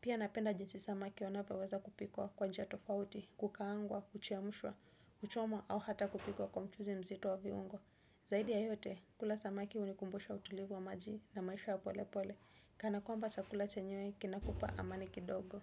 Pia napenda jinsi samaki wanavyoweza kupikwa kwa njia tofauti, kukaangwa, kuchemshwa, kuchomwa au hata kupikwa kwa mchuzi mzito wa viungo. Zaidi ya yote, kula samaki hunikumbusha utulivu wa maji na maisha ya polepole. Kana kwamba chakula chenyewe kinakupa amani kidogo.